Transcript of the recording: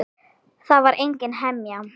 Það er engin hemja.